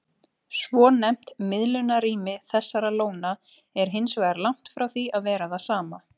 Svonefnt miðlunarrými þessara lóna er hins vegar langt frá því að vera það sama.